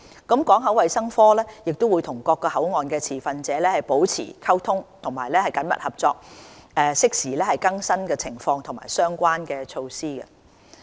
港口衞生科會與各口岸持份者保持溝通和緊密合作，適時更新情況及相關措施。